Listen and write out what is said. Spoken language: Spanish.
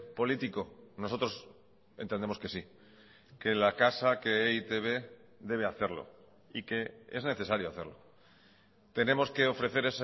político nosotros entendemos que sí que la casa que e i te be debe hacerlo y que es necesario hacerlo tenemos que ofrecer